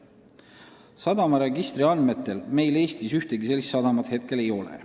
Sadamaregistri andmetel meil praegu ühtegi sellist sadamat ei ole.